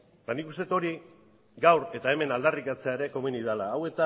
eta nik uste dut hori gaur eta hemen aldarrikatzea ere komeni dela